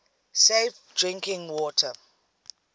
safe drinking water